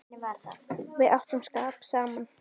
Við áttum skap saman.